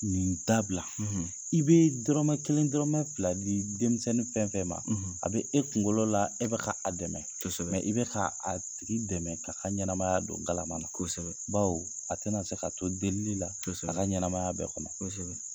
Niin dabila! i bee dɔrɔmɛ kelen dɔrɔmɛ fila di denmisɛnnin fɛn fɛn ma, a be e kuŋolo la e be ka a dɛmɛ, kosɛbɛ, i bɛ ka a tigi dɛmɛ k'a ka ɲɛnamaya do galama na. Kosɛbɛ. Bawo a tɛna se ka to delili la, kosɛbɛ a ka ɲɛnɛmaya bɛɛ kɔnɔ. Kosɛbɛ.